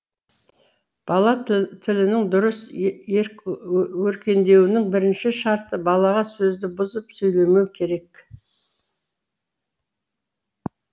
бала тілінің дұрыс өркендеуінің бірінші шарты балаға сөзді бұзып сөйлемеу керек